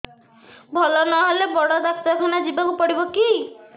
ଭଲ ନହେଲେ ବଡ ଡାକ୍ତର ଖାନା ଯିବା କୁ ପଡିବକି